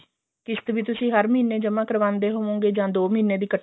ਕਿਸ਼ਤ ਵੀ ਤੁਸੀਂ ਹਰ ਮਹੀਨੇ ਜਮਾਂ ਕਰਵਾਉਂਦੇ ਹੋਵੋਗੇ ਜਾ ਦੋ ਮਹੀਨਿਆ ਦੀ ਇੱਕਠੀ